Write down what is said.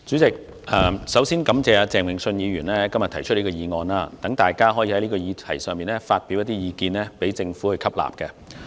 主席，首先感謝鄭泳舜議員今天提出這項議案，讓大家在這議題上發表意見，讓政府吸納。